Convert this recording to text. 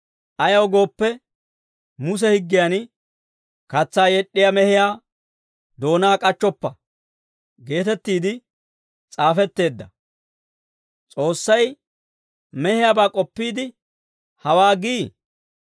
Ayaw gooppe, Muse Higgiyan, «Katsaa yed'd'iyaa mehiyaa doonaa k'achchoppa» geetettiide s'aafetteedda. S'oossay mehiyaabaa k'oppiide hawaa gii?